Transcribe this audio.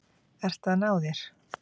Ert að ná þér.